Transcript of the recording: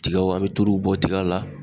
Tigaw, an bɛ tuluw bɔ tiga la